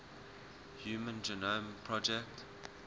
human genome project